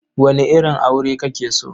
Wane irin aure kake so?